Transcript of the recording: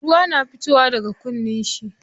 Ruwa na fitowa daga kunnan shi.